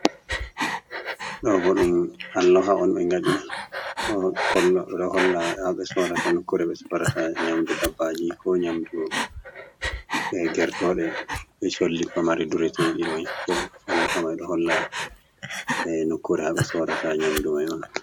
Ɗo bo ɗum alloha on ɓe ngaɗi. Kolla, ɓe ɗo holla haɓe soorata nukkure ɓe sorata nyamdu dabbaaji, ko nyamdu gertooɗe, be solli pamari dureteeɗi mai. Ɗo alloha mai ɗo holla nukkure haɓe sorata nyamdu mai on.